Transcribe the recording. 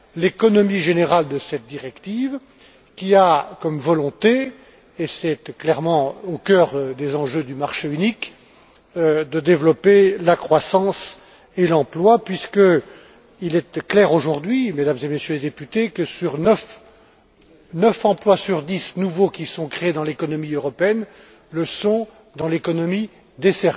l'économie générale de cette directive qui a comme volonté, et c'est clairement au cœur des enjeux du marché unique, de développer la croissance et l'emploi puisqu'il est clair aujourd'hui, Mesdames et Messieurs les députés, que neuf emplois nouveaux sur dix qui sont créés dans l'économie européenne le sont dans l'économie des